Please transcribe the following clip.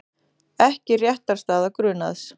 Ekki réttarstaða grunaðs